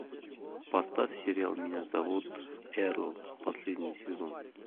поставь сериал меня зовут эрл последний сезон